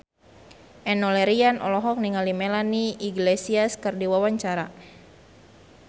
Enno Lerian olohok ningali Melanie Iglesias keur diwawancara